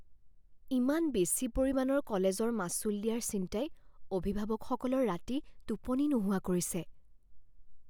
ইমান বেছি পৰিমাণৰ কলেজৰ মাচুল দিয়াৰ চিন্তাই অভিভাৱকসকলৰ ৰাতি টোপনি নোহাৱা কৰিছে।